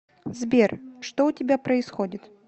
сбер что у тебя происходит